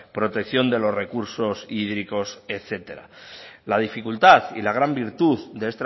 protección de los recursos hídricos etcétera la dificultad y la gran virtud de